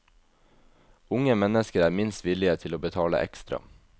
Unge mennesker er minst villige til å betale ekstra.